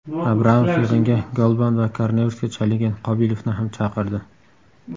Abramov yig‘inga Golban va koronavirusga chalingan Qobilovni ham chaqirdi.